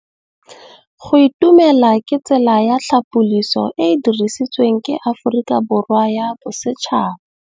Go itumela ke tsela ya tlhapolisô e e dirisitsweng ke Aforika Borwa ya Bosetšhaba.